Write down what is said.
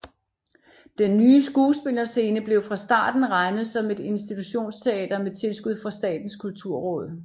Den nye skuespillerscene blev fra starten regnet som et institutionsteater med tilskud fra Statens kulturråd